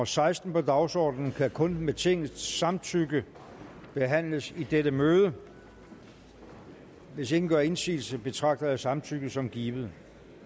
seksten på dagsordenen kan kun med tingets samtykke behandles i dette møde hvis ingen gør indsigelse betragter jeg samtykket som givet